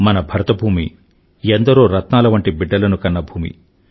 మన భరతభూమి ఎందరో రత్నాలవంటి బిడ్డలను కన్న భూమి